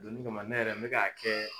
Donnin kama ne yɛrɛ n mɛ k'a kɛ